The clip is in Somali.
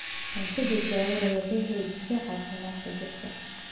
Cunto badbaado leh waxay xoojisaa caafimaadka jidhka.